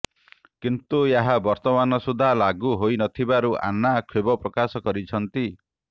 କିନ୍ତୁ ଏହା ବର୍ତ୍ତମାନ ସୁଦ୍ଧା ଲାଗୁ ହୋଇନଥିବାରୁ ଆନ୍ନା କ୍ଷୋଭ ପ୍ରକାଶ କରିଛନ୍ତି